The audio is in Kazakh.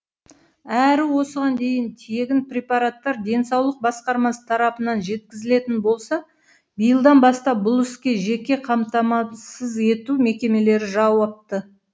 әрі осыған дейін тегін препараттар денсаулық басқармасы тарапынан жеткізілетін болса биылдан бастап бұл іске жеке қамтамасыз ету мекемелері жауапты